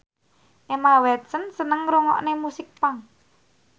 Emma Watson seneng ngrungokne musik punk